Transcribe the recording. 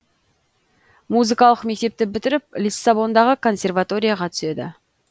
музыкалық мектепті бітіріп лиссабондағы консерваторияға түседі